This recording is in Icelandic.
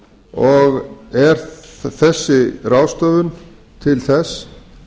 og er þessi ráðstöfun til þess